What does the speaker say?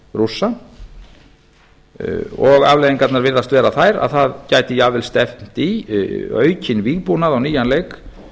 rússa og afleiðingarnar virðast vera þær að það gæti jafnvel stefnt í aukinn vígbúnað á nýjan leik